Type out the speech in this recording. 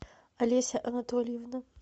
олеся анатольевна